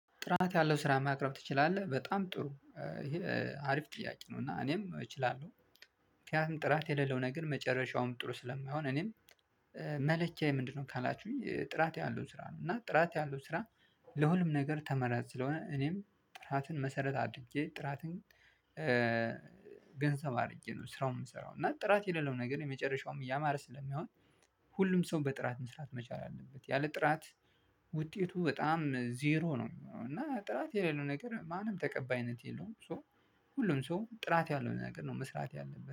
ጥራት ያለው ስራ ማቅረብ ትችላለህ? በጣም ጥሩ ይሄ አሪፍ ጥያቄ ነው እና እኔም እችላለሁ ምክንያቱም ጥራት የሌለው ነገር መጨረሻውም ጥሩ ስለማይሆን እኔም መለኪያዬ ምንድነው ካላችሁኝ ጥራት ያሉን ስራ ነው እና ጥራት ያለው ስራ ለሁሉም ነገር ተመራጭ ስለሆነ እኔም ጥራትን መሰረት አድርጌ ጥራትን ገንዘብ አድርጌ ነው ስራውን የምሰራው እና ጥራት የሌለው ነገር የመጨረሻውም እያማረ ስለሚሆን ሁሉም ሰው በጥራት መስራት መቻል አለበት ያለ ጥራት ውጤቱ በጣም ዜሮ ነው እና ጥራት የሌለው ነገር ማንም ተቀባይነት የለውም ሶ ሁሉም ሰው ጥራት ያለው ነገር ነው መስራት ያለበት